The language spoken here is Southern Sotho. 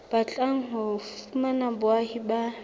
batlang ho fumana boahi ba